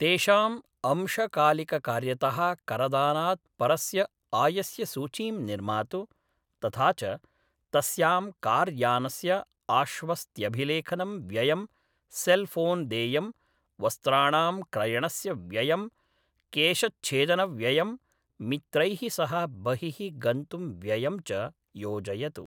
तेषाम् अंशकालिककार्यतः करदानात् परस्य आयस्य सूचीं निर्मातु, तथा च तस्यां कार्यानस्य आश्वस्त्यभिलेखनं व्ययं, सेल्फ़ोन्देयं, वस्त्राणां क्रयणस्य व्ययं, केशच्छेदनव्ययं, मित्रैः सह बहिः गन्तुं व्ययं च योजयतु।